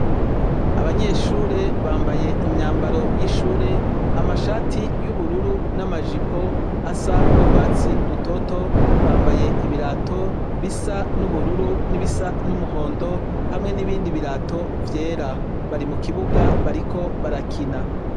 Abanyeshure bambaye imyambaro y' ishure amashati y' ubururu n' amajipo bisa n' ugwatsi rutoto bambaye ibirato bisa n' ubururu n' ibisa n' umuhondo hamwe n' ibindi birato vyera bari mukibuga bariko barakina.